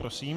Prosím.